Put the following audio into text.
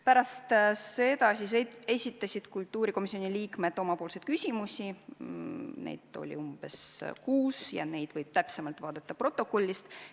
Pärast seda esitasid kultuurikomisjoni liikmed küsimusi, neid oli umbes kuus ja neid võib täpsemalt vaadata protokollist.